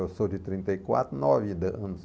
Eu sou de trinta e quatro, nove anos.